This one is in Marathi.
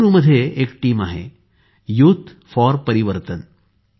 बंगळुरू मध्ये एक टीम आहे युथ फॉर परिवर्तन